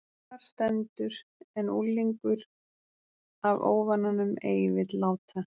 Þar stendur: En unglingur af óvananum ei vill láta